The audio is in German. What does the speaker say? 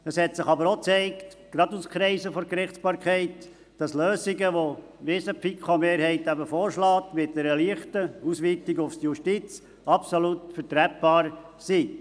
Es hat sich aber auch gezeigt, dass Lösungen mit einer leichten Ausweitung auf die Justiz, wie sie die FiKo-Mehrheit vorschlägt, absolut vertretbar sind, gerade auch für Kreise der Gerichtsbarkeit.